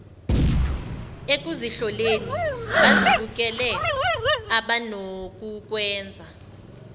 ekuzihloleni bazibukele abanokukwenza